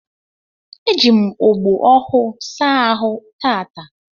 Eji m ogbo ọhụụ saa ahụ taata